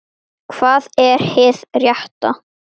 Hvað er hið rétta?